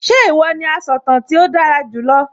Ṣé ìwọ ní asọ̀tàn tí ó dára jù lọ?